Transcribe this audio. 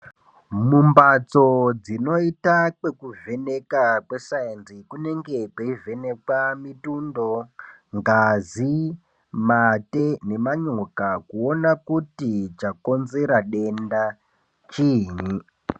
Mumhatso dzinoita kwekuvheneka kwesainzi kunenga kweivhenekwa mutndo ngazi mate nemanyoka kuona kuti chakonzera denda chiinyi .